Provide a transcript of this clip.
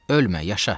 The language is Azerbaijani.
Ölmə, yaşa!